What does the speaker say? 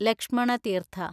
Lakshmana Theertha